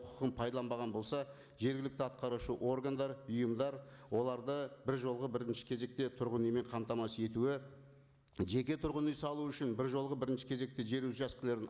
құқығын пайдаланбаған болса жергілікті атқарушы органдар ұйымдар оларды бір жолғы бірінші кезекте тұрғын үймен қамтамасыз етуі жеке тұрғын үй салу үшін бір жолғы бірінші кезекте жер учаскілерін